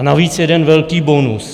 A navíc jeden velký bonus.